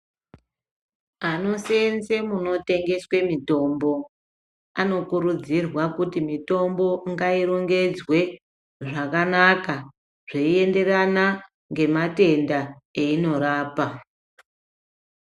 Anoseenze munotengeswe mitombo anokurudzirwa kuti mitombo ngairongedzwe zvakanaka zveinderana ngematenda eyinorapa.